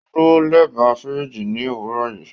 O duro lẹba firiji ni owurọ yii